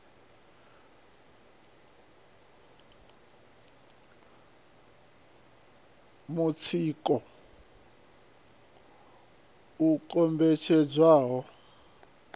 mutsiko u kombetshedzwa u pfiswa